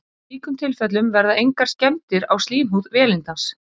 Í slíkum tilfellum verða engar skemmdir á slímhúð vélindans.